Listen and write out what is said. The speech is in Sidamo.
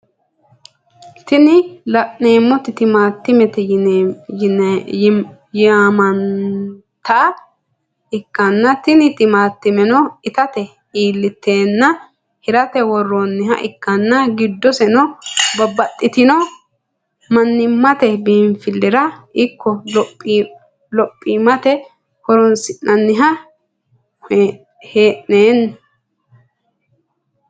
Tini lanemoti timatimete yimnanita ikitana tini timatimeno ittate ilitena hiraate woronniha ikana gidoseno babatitino manimate binifilirano iko lophimate horonisinanni henananni